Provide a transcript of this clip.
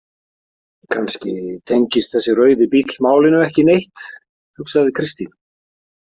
Kannski tengist þessi rauði bíll málinu ekki neitt, hugsaði Kristín.